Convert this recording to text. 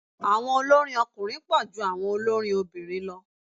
Àwọn olórin ọkùnrin pọ̀ ju àwọn olórin obìnrin lọ.